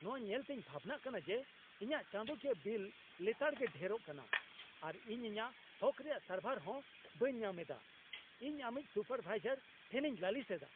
ᱱᱚᱶᱟ ᱧᱮᱞᱛᱮᱧ ᱵᱷᱟᱵᱱᱟᱜ ᱠᱟᱱᱟ ᱡᱮ ᱤᱧᱟᱹᱜ ᱪᱟᱸᱫᱳᱠᱤᱭᱟᱹ ᱵᱤᱞ ᱞᱮᱛᱟᱲᱜᱮ ᱰᱷᱮᱨᱚᱜ ᱠᱟᱱᱟ, ᱟᱨ ᱤᱧ ᱤᱧᱟᱹᱜ ᱦᱚᱠ ᱨᱮᱭᱟᱜ ᱥᱟᱨᱵᱷᱟᱨ ᱦᱚᱸ ᱵᱟᱹᱧ ᱧᱟᱢ ᱮᱫᱟ ᱾ᱤᱧ ᱟᱹᱢᱤᱡ ᱥᱩᱯᱟᱨᱵᱷᱟᱭᱡᱟᱨ ᱴᱷᱮᱱᱤᱧ ᱞᱟᱹᱞᱤᱥ ᱮᱫᱟ ᱾